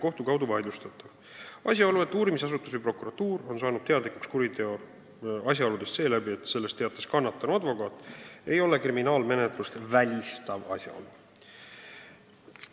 Asjaolu, et uurimisasutus või prokuratuur on kuriteo asjaoludest teadlikuks saanud seeläbi, et sellest teatas kannatanu advokaat, ei ole kriminaalmenetlust välistav asjaolu.